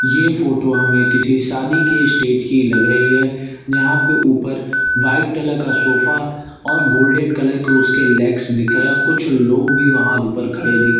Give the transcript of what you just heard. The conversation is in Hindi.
ये फोटो हमें किसी शादी के स्टेज की लग रही है जहां पे ऊपर व्हाइट कलर का सोफा और गोल्डन कलर को उसके लेग्स दिख रहे हैं कुछ लोग भी वहां ऊपर खड़े दिख रहे--